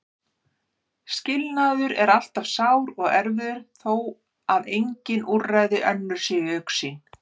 Skilnaður er alltaf sár og erfiður þó að engin úrræði önnur séu í augsýn.